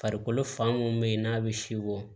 Farikolo fan mun be yen n'a be si bɔ